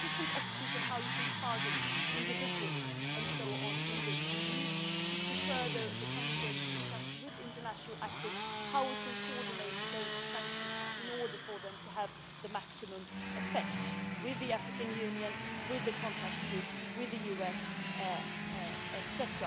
There are different options on how you can target individuals and so on in this, and we need, in the coming days, to further discuss with international actors how we can coordinate those sanctions in order for them to have the maximum effect with the African Union, with the contact group, with the US, etc.